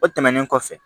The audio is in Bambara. O tɛmɛnen kɔfɛ